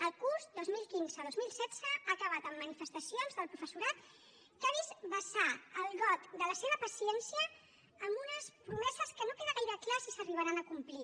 el curs dos mil quinze dos mil setze ha acabat amb manifestacions del professorat que ha vist vessar el got de la seva paciència amb unes promeses que no queda gaire clar si s’arribaran a complir